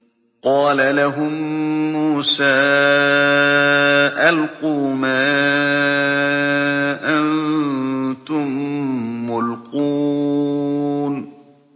قَالَ لَهُم مُّوسَىٰ أَلْقُوا مَا أَنتُم مُّلْقُونَ